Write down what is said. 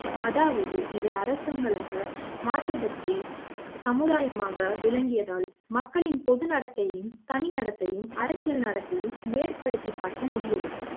அதாவது இவை அர்த்தங்களாக மாற்றம் பற்றி சமுதாய மாகவும் விளங்கியதால் மக்களின் பொது நடத்தையும் தனி நடத்தையையும் அரசியல் நடத்தையும் ஏற்படுத்தி பார்க்க முடியவில்லை